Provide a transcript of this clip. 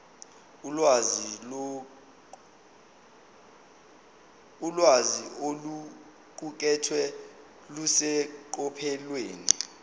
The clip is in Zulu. ulwazi oluqukethwe luseqophelweni